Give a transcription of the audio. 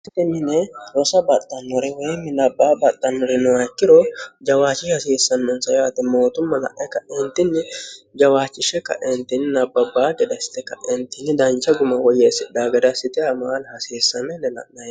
hasti mine rosa baxxannore woyi minabbaa baxxannore noyakkiro jawaachi hasiissannonsa yaate mootumma la'e kaeentinni jawaachishshe kaeentinni nabbabbaa gedassite kaeentinni dancha guma woyyeessidhagadassite amaal hasiissame lela'nae